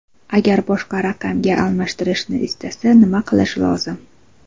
Agar boshqa raqamga almashtirishni istasa, nima qilish lozim?